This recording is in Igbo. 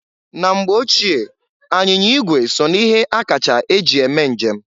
Na mgbe ochie, anyịnya ịgwe so na ihe akacha eji eme njem.